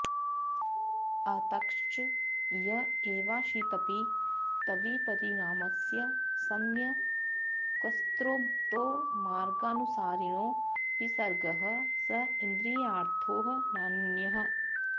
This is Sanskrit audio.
अतश्च य एवाशितपीतविपरिणामस्य सम्यक्स्त्रोतोमार्गानुसारिणो विसर्गः स इन्द्रियार्थो नान्यः